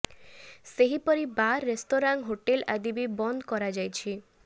ସେହିପରି bar restaurant hotel ଆଦି ବି ବନ୍ଦ କରାଯାଇଛି